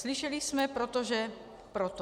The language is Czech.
Slyšeli jsme: protože proto.